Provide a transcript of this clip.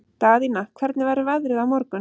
Daðína, hvernig verður veðrið á morgun?